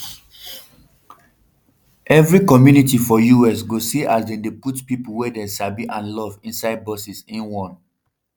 evri community for us go see as dem dey put pipo wey dem sabi and love inside buses im warn